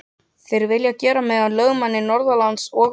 Þeir vilja gera mig að lögmanni norðanlands og vestan.